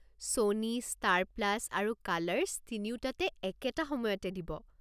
Sony, Star Plus আৰু Colors তিনিওটাতে একেটা সময়তে দিব।